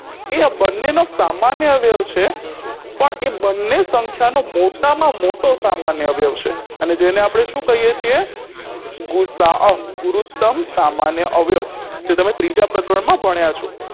એ આ બંનેનો સામાન્ય અવ્યવ છે પણ એ બંને સંખ્યાનો મોટામાં મોટો સામાન્ય અવ્યવ છે અને જેને આપણે શું કહીએ છીએ ગુસાઅ ગુરુતમ સામાન્ય અવ્યવ જે તમે ત્રીજા પ્રકરણમાં ભણ્યા છો